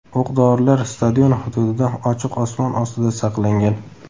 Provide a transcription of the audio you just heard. O‘q-dorilar stadion hududida ochiq osmon ostida saqlangan.